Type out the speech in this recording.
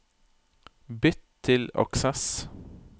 Bytt til Access